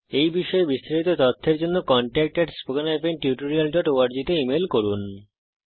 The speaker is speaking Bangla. এই বিষয়ে বিস্তারিত তথ্যের জন্য contactspoken tutorialorg তে ইমেল করুন